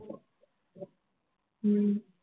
ஹம்